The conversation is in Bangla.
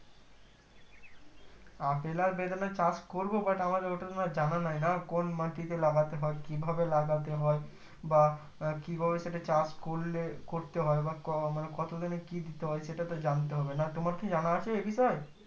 আপেল আর বেদনার চাষ করবো but আমার অতটা জানা নাই না কোন মাটিতে লাগাতে হয় কিভাবে লাগাতে হয় বা আহ কিভাবে সেটা চাষ করলে করতে হয় বা ক কত দিনে কি দিতে হয় সেটা তো জানতে হবে না তোমার কি জানা আছে এই বিষয়